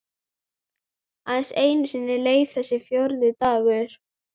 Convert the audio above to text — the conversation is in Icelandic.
Aðeins einu sinni leið þessi fjórði dagur.